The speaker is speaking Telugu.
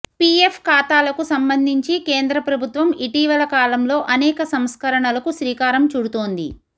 ఫిఎఫ్ ఖాతాలకు సంబంధించి కేంద్ర ప్రభుత్వం ఇటీవల కాలంలో అనేక సంస్కరణలకు శ్రీకారం చుడుతోంది